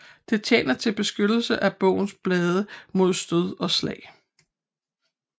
Det tjener til beskyttelse af bogens blade mod stød og slag